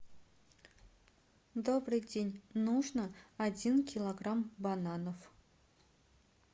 добрый день нужно один килограмм бананов